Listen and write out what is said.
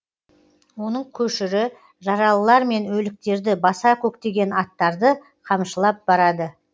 оның көшірі жаралылар мен өліктерді баса көктеген аттарды қамшылап барады